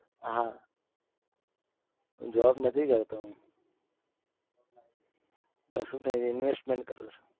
હા job નથી કરતો હું કશું નહિ investment કરું છું